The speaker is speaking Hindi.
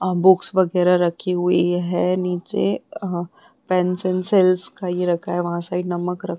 अ बुक्स वगैरा रखी हुई है नीचे अ पेंसिल सेल्स का ये रखा है वहां साइड नमक --